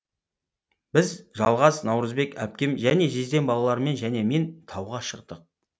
біз жалғас наурызбек әпкем және жездем балалармен және мен тауға шықтық